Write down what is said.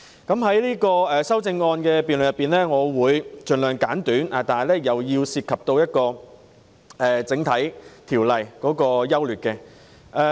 在有關修正案的辯論中，我的發言會盡量簡短，但亦會涉及法案的整體優劣。